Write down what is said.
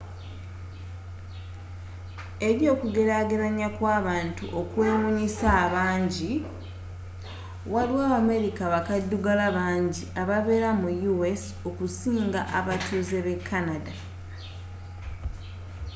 eri okugerageranya kw'abantu okwewunyiisa abangi waliwo abamerika bakaddugala banji ababeera mu us okusinga abatuuze be canada